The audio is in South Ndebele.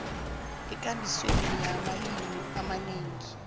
ekambisweni yamalimi amanengi